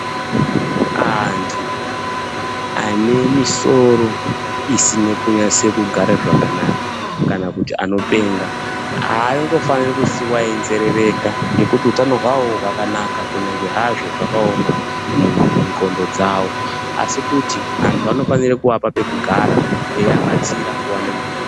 Antu ane misoro isina kunatsogare zvakanaka kana kuti anopenga haangofani kusiiwa einzerereka nekuti hutano hwavo hwakanaka kunyangwe hazvo zvakaoma mundxondo dzavo asi kuti vantu vanofana kuvapa pekugara veivabatsira nguva nenguva .